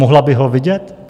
Mohla bych ho vidět?